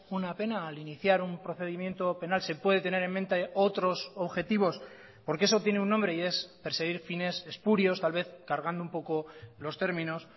una pena al iniciar un procedimiento penal se puede tener en mente otros objetivos porque eso tiene un nombre y es perseguir fines espurios tal vez cargando un poco los términos